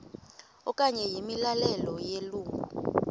okanye imiyalelo yelungu